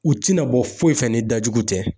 U te na bɔ foyi fɛ ni dajugu tɛ.